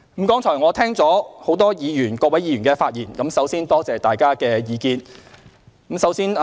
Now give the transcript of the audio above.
剛才我聽到很多議員的發言，首先感謝大家的意見。